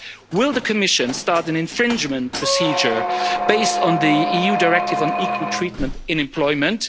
Will the Commission start an infringement procedure based on the EU Directive on Equal Treatment in Employment?